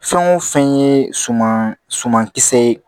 Fɛn o fɛn ye suma suma kisɛ ye